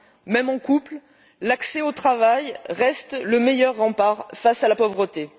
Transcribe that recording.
Même en couple, l'accès au travail reste le meilleur rempart face à la pauvreté.